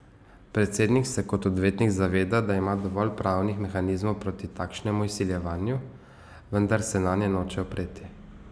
Predsednik se kot odvetnik zaveda, da ima dovolj pravnih mehanizmov proti takšnemu izsiljevanju, vendar se nanje noče opreti.